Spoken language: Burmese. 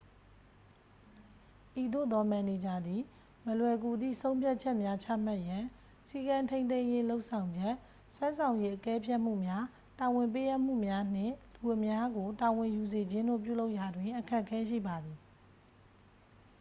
ဤသို့သော မန်နေဂျာသည် မလွယ်ကူသည့် ဆုံဖြတ်ချက်များ ချမှတ်ရန် စည်းကမ်းထိန်းသိမ်းရေး လုပ်ဆောင်ချက် စွမ်းဆောင်ရည် အကဲဖြတ်မှုများ တာဝန်ပေးအပ်မှုများနှင့် လူအများကို တာဝန်ယူစေခြင်းတို့ ပြုလုပ်ရာတွင် အခက်အခဲရှိပါသည်